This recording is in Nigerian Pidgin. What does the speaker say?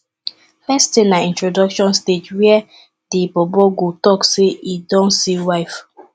first tin na introduction stage wia di bobo go tok say em don see wife